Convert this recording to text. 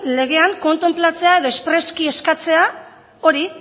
legean kontenplatzea edo espresuki eskatzea hori